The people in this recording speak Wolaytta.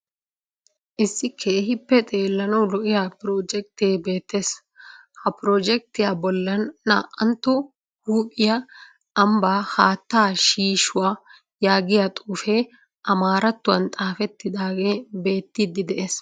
Issi keehippe xeellanawu lo'iya piroojjekitee beettees. Ha piroojjekitiya bollan naa"antto Toophphiya ambbaa haattaa shiishuya yaagiya xuufee amaarattuwan xaafettidaagee beettiiddi de'ees.